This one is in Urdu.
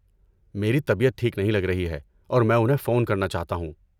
میری طبیعت ٹھیک نہیں لگ رہی ہے اور میں انہیں فون کرنا چاہتا ہوں۔